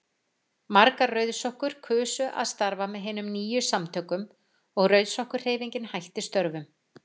Margar rauðsokkur kusu að starfa með hinum nýju samtökum og Rauðsokkahreyfingin hætti störfum.